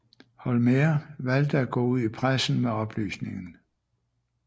Holmér valgte at gå ud i pressen med oplysningen